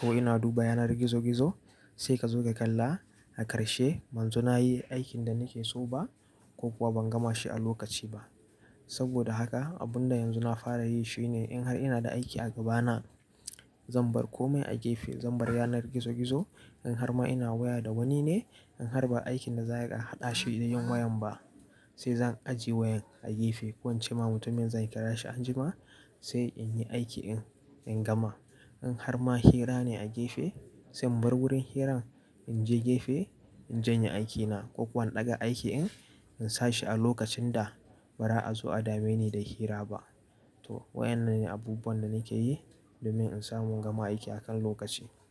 ko ina duba yanar gizo-gizo sai ka zo ka kalla a ƙarshe banzo na yi aikin da nake so ba ko kuwa ban gama shi a lokaci ba. Saboda haka abun da yanzu na fara yi shine in har ina da aiki a gabana zan bar komai a gefe, zan bar yanar gizo-gizo in har ma ina waya da wani ne in har ba aikin da za a yi aka haɗa shi da yin wayan ba sai zan ajiye wayan a gefe. Ko in ce ma mutumin zan kira shi anjima sai in yi aiki in, in gama. In har ma hira ne a gefe sai in bar wurin hirar in je gefe in janye aikina ko kuwa in ɗaga aikin in, in sa shi a lokacin da ba za a zo a dame ni da hira ba. To waƴannan ne abubuwan da nake yi domin in samu in gama aiki akan lokaci.